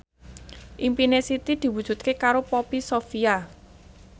impine Siti diwujudke karo Poppy Sovia